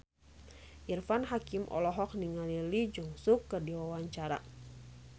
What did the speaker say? Irfan Hakim olohok ningali Lee Jeong Suk keur diwawancara